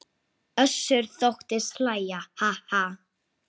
Einn hringur eftir?